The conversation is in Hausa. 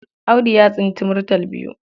Audu ya tsinci murtal biyu.